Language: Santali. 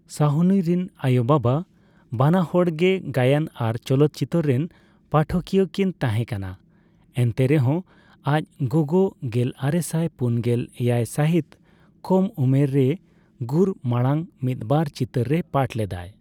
ᱥᱟᱦᱱᱤ ᱨᱮᱱ ᱟᱭᱳᱼᱵᱟᱵᱟ ᱵᱟᱱᱟᱦᱚᱲ ᱜᱮ ᱜᱟᱭᱟᱱ ᱟᱨ ᱪᱚᱞᱚᱛᱪᱤᱛᱟᱹᱨ ᱨᱮᱱ ᱯᱟᱴᱷᱚᱠᱤᱭᱟᱹᱭᱠᱤᱱ ᱛᱟᱦᱮᱸᱠᱟᱱᱟ, ᱮᱱᱛᱮᱨᱮᱦᱚᱸ ᱟᱡ ᱜᱚᱜᱚ ᱜᱮᱞᱟᱨᱮᱥᱟᱭ ᱯᱩᱱᱜᱮᱞ ᱮᱭᱟᱭ ᱥᱟᱹᱦᱤᱛ ᱠᱚᱢ ᱳᱢᱮᱹᱨ ᱨᱮ ᱜᱩᱨ ᱢᱟᱲᱟᱝ ᱢᱤᱫᱵᱟᱨ ᱪᱤᱛᱟᱹᱨ ᱨᱮᱭ ᱯᱟᱴᱷ ᱞᱮᱫᱟ ᱾